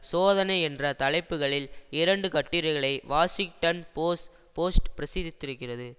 சோதனை என்ற தலைப்புகளில் இரண்டு கட்டுரைகளை வாஷிங்டன் போஸ்ட் போஸ்ட் பிரசுத்திருக்கிறது